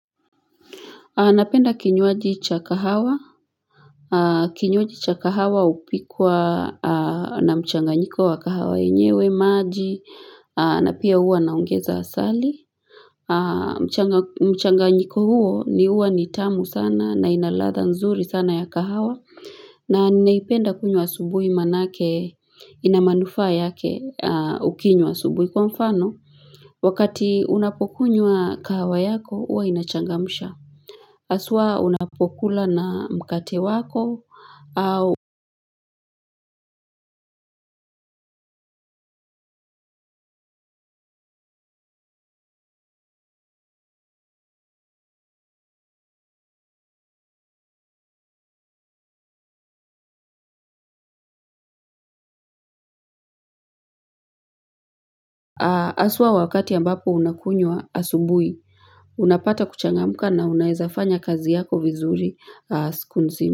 Napenda kinywaji cha kahawa. Kinywaji cha kahawa upikwa na mchanganyiko wa kahawa enyewe, maji, na pia uwa na ongeza asali. Mchanganyiko huo huwa ni tamu sana na inaladha nzuri sana ya kahawa. Na ninaipenda kunywa subuhi manake inamanufa yake ukinywa asubuhi kwa mfano. Wakati unapokunywa kahawa yako uwa inachangamsha. Aswa unapokula na mkate wako au aswa wakati ambapo unakunywa asubui unapata kuchangamuka na unaezafanya kazi yako vizuri siku nzima.